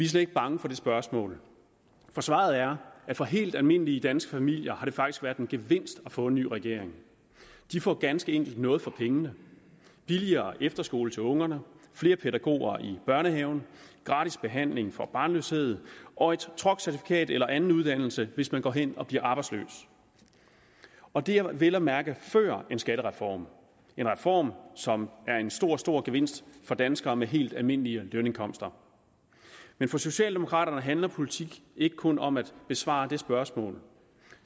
slet ikke bange for det spørgsmål for svaret er at for helt almindelige danske familier har det faktisk været en gevinst at få en ny regering de får ganske enkelt noget for pengene billigere efterskoler til ungerne flere pædagoger i børnehaven gratis behandling for barnløshed og et truckcertifikat eller anden uddannelse hvis man går hen og bliver arbejdsløs og det er vel at mærke før en skattereform en reform som er en stor stor gevinst for danskere med helt almindelige lønindkomster men for socialdemokraterne handler politik ikke kun om at besvare det spørgsmål